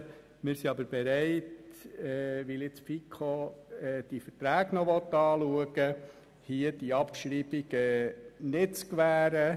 Wenn die FiKo diese Verträge nun noch anschauen will, sind wir aber bereit, hier die Abschreibung nicht zu gewähren.